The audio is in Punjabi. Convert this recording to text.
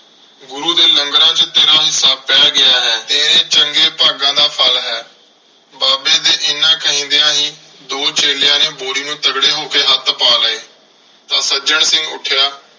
ਗੁਰੂ ਦੇ ਲੰਗਰਾਂ ਚ ਤੇਰਾ ਹਿੱਸਾ ਪੈ ਗਿਆ ਹੈ। ਤੇਰੇ ਚੰਗੇ ਭਾਗਾਂ ਦਾ ਫ਼ਲ ਹੈ। ਬਾਬੇ ਦੇ ਐਨਾ ਕਹਿੰਦਿਆਂ ਹੀ ਦੋ ਚੇਲਿਆਂ ਨੇ ਬੋਰੀ ਨੂੰ ਤਗੜੇ ਹੋ ਕੇ ਹੱਥ ਪਾ ਲਏ। ਤਾਂ ਸੱਜਣ ਸਿੰਘ ਉੱਠਿਆ।